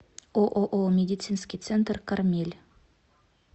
ооо медицинский центр кармель